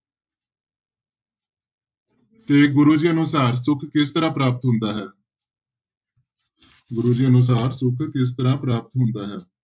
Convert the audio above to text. ਤੇ ਗੁਰੂ ਜੀ ਅਨੁਸਾਰ ਸੁੱਖ ਕਿਸ ਤਰ੍ਹਾਂ ਪ੍ਰਾਪਤ ਹੁੰਦਾ ਹੈ ਗੁਰੂ ਜੀ ਅਨੁਸਾਰ ਸੁੱਖ ਕਿਸ ਤਰ੍ਹਾਂ ਪ੍ਰਾਪਤ ਹੁੰਦਾ ਹੈ।